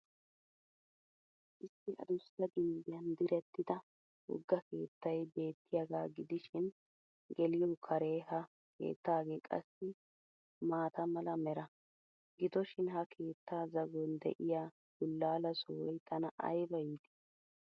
Issi addussa gimbbiyan direttida wogga keettay beettiyaaga gidishshiin geliyo kare ha keettagee qassi maata mala mera. Gidoshiin ha keetta zagon de'iya bulaala sohoy tana ayba iitii!